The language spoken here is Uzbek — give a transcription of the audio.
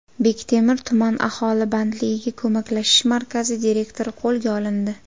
Bektemir tuman aholi bandligiga ko‘maklashish markazi direktori qo‘lga olindi.